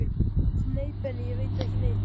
Nei Benni, ég veit ekki neitt.